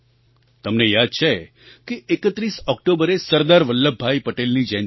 તમને યાદ છે કે 31 ઑક્ટોબરે સરદાર વલ્લભભાઈ પટેલની જયંતી છે